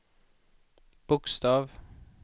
bokstav